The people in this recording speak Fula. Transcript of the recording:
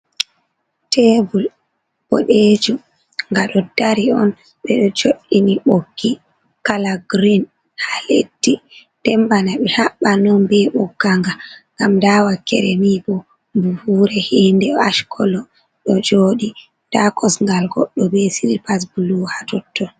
Tebul ɓodejum, nga ɗo dari on. Ɓe ɗo jo'ini ɓoggi kala green haa leddi, nden bana ɓe haɓɓan on be ɓogga nga. Ngam nda wakkere niɗo buhuure hinde ash kolo ɗo jooɗi, nda kosngal goɗɗo be silpas blu ha totton.